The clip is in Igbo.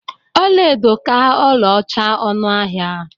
Ọlaedo ka ọlaọcha ọnụ ahịa.